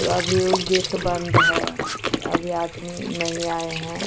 अभी उ गेट बंद है अभी आदमी नहीं आये हैं।